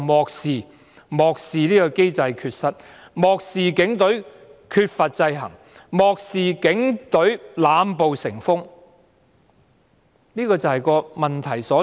然而，漠視機制缺失的你，漠視警隊缺乏制衡的你，漠視警隊濫暴成風的你......